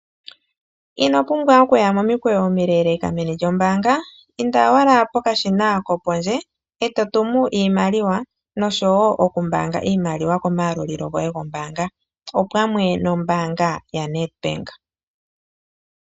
Ino pumbwa okuya momikweyo omileeleka meni lyombaanga, inda owala pokashina kopondje eto tumu iimaliwa noshowo okumbaanga iimaliwa komayalulilo goye gombaanga opamwe nombaanga yaNEDBANK.